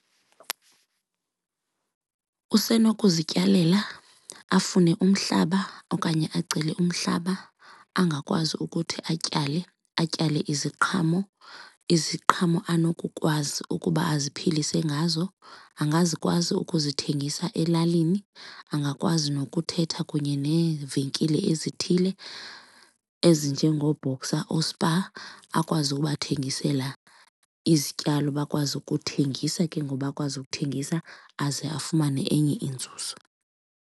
Usenokuzityalela, afune umhlaba okanye acele umhlaba angakwazi ukuthi atyale, atyale iziqhamo, iziqhamo anokukwazi ukuba aziphilise ngazo. Angazikwazi ukuzithengisa elalini, angakwazi nokuthetha kunye neevenkile ezithile ezinjengooBoxer, ooSpar akwazi ubathengisela izityalo bakwazi ukuthengisa ke ngoku bakwazi ukuthengisa aze afumane enye inzuzo.